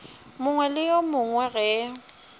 mongwe le yo mongwe ge